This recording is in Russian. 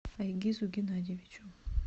айгизу геннадьевичу